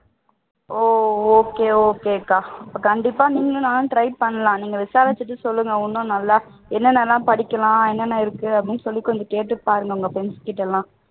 ஓ okay okay க்கா கண்டிப்பா நீங்களும் நானும் try பண்ணலாம் நீங்க விசாரிச்சு சொல்லுங்க இன்னும் நல்லா என்னென்ன எல்லாம் படிக்கலாம் என்னென்ன இருக்குதுன்னு கேட்டு பாருங்க உங்க friends கிட்ட எல்லாம்